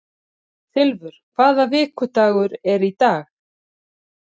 Silfur, hvaða vikudagur er í dag?